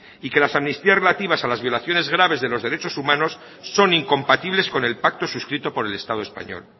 y que las amnistías relativas a las violaciones graves de los derechos humanos son incompatibles con el pacto suscrito por el estado español